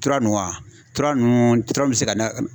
Tura nunnu a tura nunnu tura nunnu bɛ se ka da